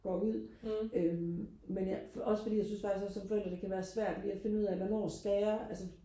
går ud øhm men jeg også fordi jeg synes faktisk også som forældre også det kan være svært lige og finde ud af hvornår skal jeg